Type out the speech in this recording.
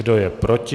Kdo je proti?